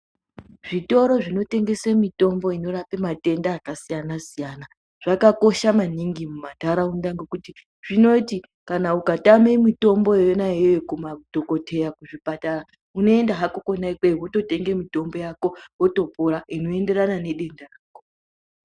Zvitoro zvinotengesa mitombo inorapa matenda akasiyana siyana zvakakosha maningi mumantharaunda ngokuti zvinoti kana ukatama mitombo yona iyoyo kumadhokodheya kuzvipatara. Unoenda hako kona ikweyo wototenga mitombo yako wotopora inoenderana nedenda rako.